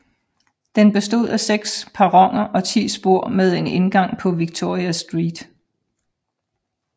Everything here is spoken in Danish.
Den bestod af seks perroner og ti spor med en indgang på Victoria Street